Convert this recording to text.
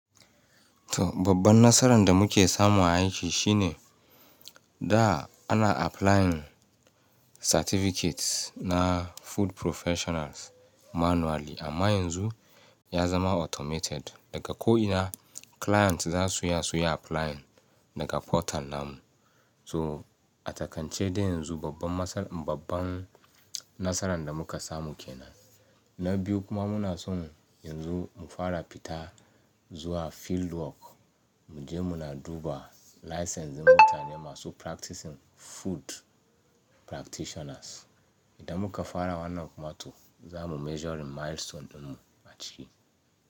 To babban nasaran da muke samu aiki shine, da, ana applying certificates na food professionals manually, amma yanzu ya zama automated. Daka ko ina, clients za su iya su yi applying daga portal namu. To a takance dai yanzu, babban masal-- babban nasaran da muka samu ke nan. Na biyu kuma muna son yanzu, mu fara fita zuwa field work, mu je muna duba licensing mutane masu practicing food practitioners. Idan muka fara wannan kuma to, za mu measuring milestone ɗinmu a ciki.